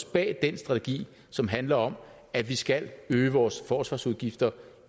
bag den strategi som handler om at vi skal øge vores forsvarsudgifter